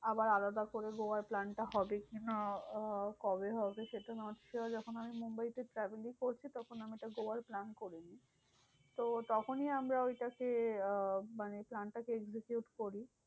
আবার আলাদা করে গোয়ার plan টা হবে কিনা? আহ কবে হবে সেটা যখন আমি মুম্বাইতে চাকরি করছি, তখনি আমি একটা গোয়ার plan করে নি। তো তখনি আমরা ওইটাকে আহ মানে plan টাকে execute করি।